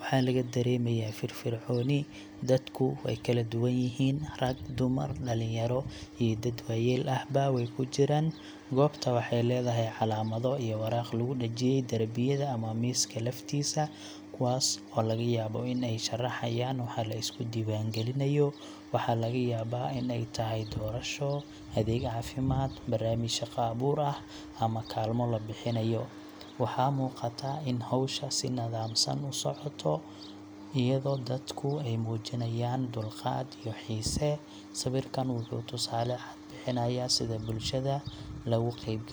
Waxaa laga dareemayaa firfircooni, dadku way kala duwan yihiin: rag, dumar, dhalinyaro iyo dad waayeel ahba way ku jiraan. Goobta waxay leedahay calaamado iyo waraaqo lagu dhejiyay darbiyada ama miiska laftiisa, kuwaas oo laga yaabo in ay sharxayaan waxa la isku diiwaangelinayo – waxaa laga yaabaa in ay tahay doorasho, adeeg caafimaad, barnaamij shaqo abuur ah ama kaalmo la bixinayo. Waxaa muuqata in howsha si nidaamsan u socoto, iyadoo dadku ay muujinayaan dulqaad iyo xiise. Sawirkan wuxuu tusaale cad ka bixinayaa sida bulshada looga qaybgeliyo.